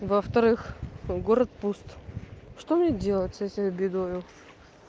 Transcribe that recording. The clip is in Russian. во-вторых город пуст что мне делать с этою бедою